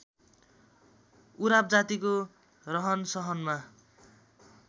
उराव जातिको रहनसहनमा